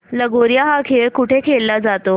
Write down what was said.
लगोर्या हा खेळ कुठे खेळला जातो